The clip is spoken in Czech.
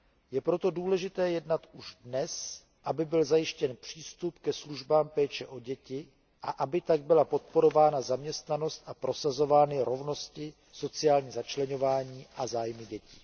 Je proto důležité jednat už dnes, aby byl zajištěn přístup ke službám péče o děti a aby tak byla podporována zaměstnanost a prosazovány rovnost, sociální začleňování a zájmy dětí.